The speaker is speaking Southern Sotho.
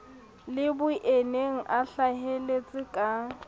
le boyeneng a hlaheletse ka